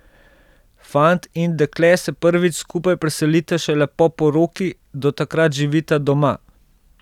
Fant in dekle se prvič skupaj preselita šele po poroki, do takrat živita doma.